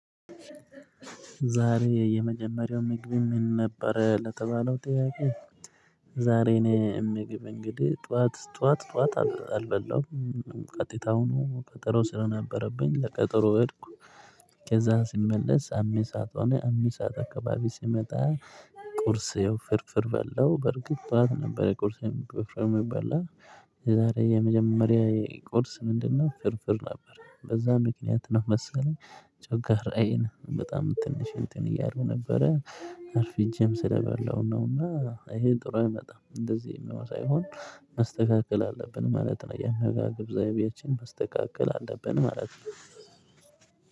ዛሬ የመጀመሪያው ምግብ ምን ነበረ ለተባለው ጥያቄ ዛሬ እኔ የምግብ እንግዲህ ጠዋት ጠዋት ጠዋት አልበላም ቀጥታ ሁኑ ቀጠሮ ስለነበረብኝ ለቀጠሮ ሄድኩ ከዛ ሲመለስ አሜሳት ሆነ አሜሳት አካባቢ ሲመጣ ይው ፍርፍር በለው በርግጥ ጠዋት ነበር የቁርስን ፍርፍር በለው የዛሬ የመጀመሪያ የቁርስ ምንድነው ፍርፍር ነበር በዛ ምክንያት ነው መሰለኝ ጮካራየን በጣም ትንሽ እንትን እያለው ነበረ አርፊ እጄም ስለበላው ነውና ይሄን ጥሩ አይመጣም እንደዚህ የሚሆን ሳይሆን መስተካከል አለብን ማለት ነው የመጋገብ ዘይቤያችን መስተካከል አለብን ማለት ነው።